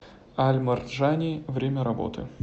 аль марджани время работы